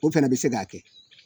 O fɛnɛ bɛ se k'a kɛ